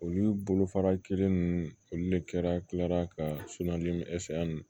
Olu bolo fara kelen ninnu olu de kɛra tila ka